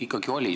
Ikkagi oli.